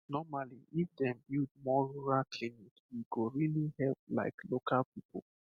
normally if dem build more rural clinic e go really help like local people